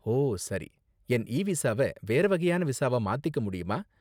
ஓ, சரி. என் இ விசாவ வேற வகையான விசாவா மாத்திக்க முடியுமா